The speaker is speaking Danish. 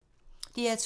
DR2